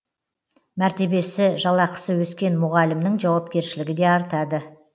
мәртебесі жалақысы өскен мұғалімнің жауапкершілігі де артады